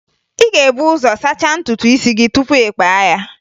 Ị ga-ebu ụzọ sachaa ntutu isi gị tupu ị kpaa ya